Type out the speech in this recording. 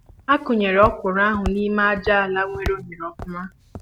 A kụ nyere ọkwụrụ ahụ n'ime aja àlà nwere oghere ofụma